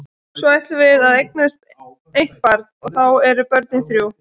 Svo ætlum við að eignast eitt barn og þá eru börnin þrjú.